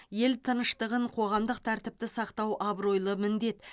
ел тыныштығын қоғамдық тәртіпті сақтау абыройлы міндет